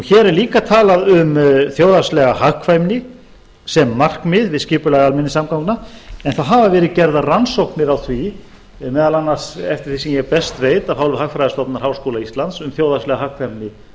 hér er líka talað um þjóðhagslega hagkvæmni sem markmið við skipulag almenningssamgangna en það hafa verið gerðar rannsóknir á því meðal annars eftir því sem ég best veit af hálfu hagfræðistofnunar háskóla íslands um þjóðhagslega hagkvæmni